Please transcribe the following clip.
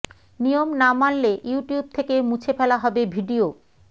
নিয়ম না মানলে ইউটিউব থেকে মুছে ফেলা হবে ভিডিও